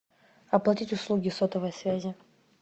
оплатить услуги сотовой связи